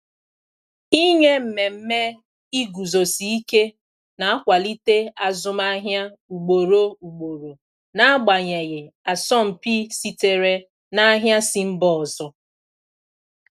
Ịnye mmemme iguzosi ike na-akwalite azụmahịa ugboro ugboro, n'agbanyeghị asọmpi sitere na ahịa si mba ọzọ.